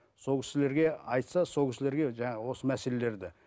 сол кісілерге айтса сол кісілерге жаңа осы мәселелерді